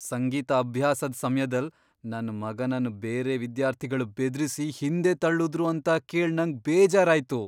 ಸಂಗೀತ ಅಭ್ಯಾಸದ್ ಸಮ್ಯದಲ್ ನನ್ ಮಗನನ್ ಬೇರೆ ವಿದ್ಯಾರ್ಥಿಗಳ್ ಬೆದ್ರಿಸಿ ಹಿಂದೆ ತಳ್ಳುದ್ರು ಅಂತ ಕೇಳ್ ನಂಗ್ ಬೇಜಾರ್ ಆಯ್ತು.